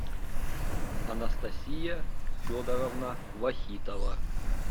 анастасия федоровна вахитова